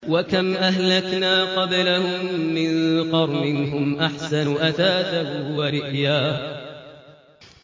وَكَمْ أَهْلَكْنَا قَبْلَهُم مِّن قَرْنٍ هُمْ أَحْسَنُ أَثَاثًا وَرِئْيًا